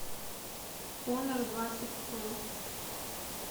хонор двадцать про